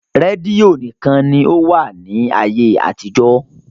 Rẹ́dio níkan ni ó wà ní ayé àtijó.